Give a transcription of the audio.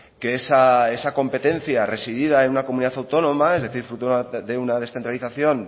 que esa competencia residida en una comunidad autónoma es decir fruto de una descentralización